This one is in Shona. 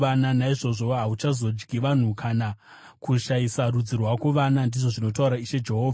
naizvozvo hauchazodyi vanhu kana kushayisa rudzi rwako vana, ndizvo zvinotaura Ishe Jehovha.